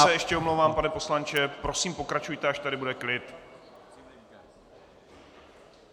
Já se ještě omlouvám, pane poslanče, prosím, pokračujte, až tady bude klid.